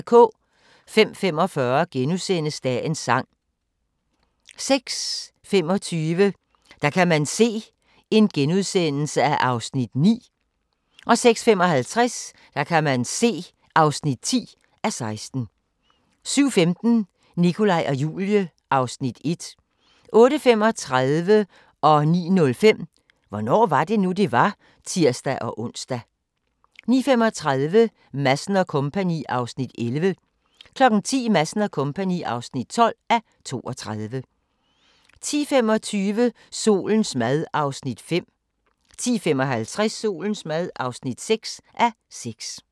05:45: Dagens sang * 06:25: Der kan man se (9:16)* 06:55: Der kan man se (10:16) 07:15: Nikolaj og Julie (Afs. 1) 08:35: Hvornår var det nu, det var? *(tir-ons) 09:05: Hvornår var det nu, det var? *(tir-ons) 09:35: Madsen & Co. (11:32) 10:00: Madsen & Co. (12:32) 10:25: Solens mad (5:6) 10:55: Solens mad (6:6)